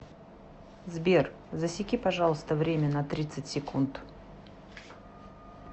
сбер засеки пожалуйста время на тридцать секунд